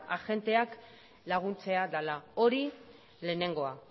agenteak laguntzea dela hori lehenengoa